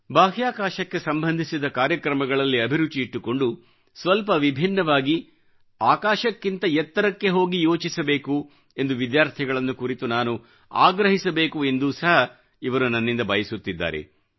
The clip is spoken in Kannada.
ಬಾಹ್ಯಾಕಾಶಕ್ಕೆ ಸಂಬಂಧಿಸಿದ ಕಾರ್ಯಕ್ರಮಗಳಲ್ಲಿ ಅಭಿರುಚಿ ಇಟ್ಟುಕೊಂಡು ಸ್ವಲ್ಪ ವಿಭಿನ್ನವಾಗಿ ಆಕಾಶಕ್ಕಿಂತ ಎತ್ತರಕ್ಕೆ ಹೋಗಿ ಯೋಚಿಸಬೇಕು ಎಂದು ವಿದ್ಯಾರ್ಥಿಗಳನ್ನು ಕುರಿತು ನಾನು ಆಗ್ರಹಿಸಬೇಕು ಎಂದು ಸಹ ಇವರು ನನ್ನಿಂದ ಬಯಸುತ್ತಿದ್ದಾರೆ